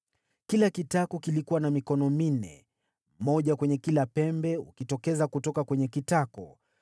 Kila kitako kilikuwa na mikono minne, moja kwenye kila pembe, ukitokeza kutoka kwenye kitako.